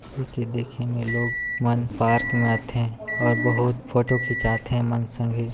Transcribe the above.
हे के देखे में लोग मन पार्क में आथे और बहुत फोटो खीचाथें मन संग ही--